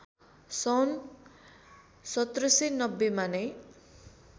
सन् १७९० मा नै